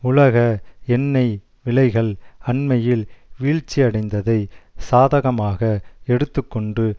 உலக எண்ணெய் விலைகள் அண்மையில் வீழ்ச்சியடைந்ததை சாதகமாக எடுத்து கொண்டு